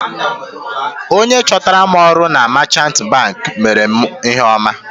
Onye chọtara m ọrụ na meechanti banki meere mụ ihe ọma.